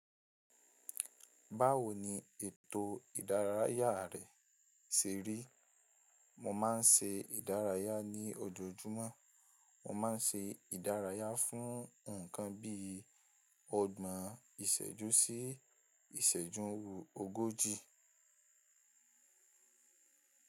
Báwo ni ètò ìdárayá rẹ ṣe rí? Mo máa ń ṣe ìdárayá ní ojoojúmọ́. Mo máa ń ṣe ìdárayá fún ǹkan bíi ọgbọ̀n ìṣẹ́jú sí ìṣẹ́jú, ogójì.